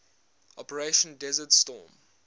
operation desert storm